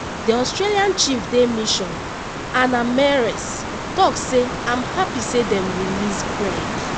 di australia chef de mission anna meares tok say im happy say dem release craig